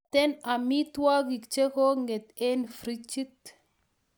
Mito amitugik che ko nget eng' frijit